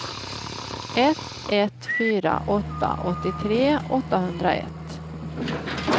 ett ett fyra åtta åttiotre åttahundraett